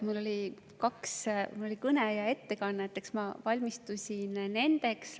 Mul oli kõne ja ettekanne, eks ma valmistusin nendeks.